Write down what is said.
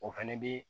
O fɛnɛ bi